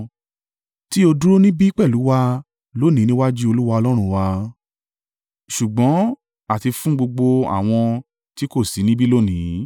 tí ó dúró níbí pẹ̀lú wa lónìí níwájú Olúwa Ọlọ́run wa ṣùgbọ́n àti fún gbogbo àwọn tí kò sí níbí lónìí.